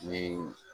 Ni